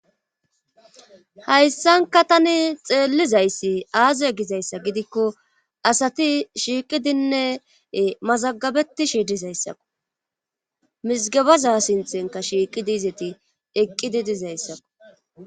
Hayssanka tani xeellizayssi aaze gizayssa gidikko asati shiiqidinne mazagabeti shiidizayssakku mizgabaza sinthenka shiiqi diizeti eqqidi dizayssakku